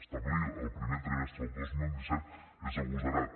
establir el primer trimestre del dos mil disset és agosarat